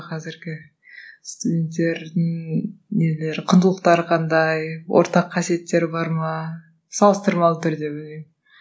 қазіргі студенттердің нелері құндылықтары қандай ортақ қасиеттері бар ма салыстырмалы түрде